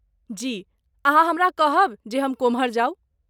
जी। अहाँ हमरा कहब जे हम कोम्हर जाउ?